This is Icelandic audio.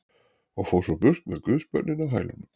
Og fór svo burt með guðsbörnin á hælunum.